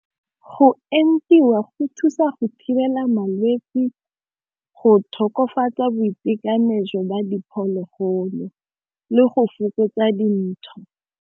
Go entiwa go thusa go thibela malwetsi, go tokafatsa boitekanelo jwa ba diphologolo le go fokotsa dintsho.